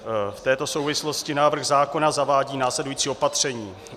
V této souvislosti návrh zákona zavádí následující opatření: